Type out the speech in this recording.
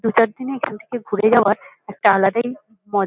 দু-চার দিনে এখান থেকে ঘুরে যাওয়ার একটা আলাদাই মজ--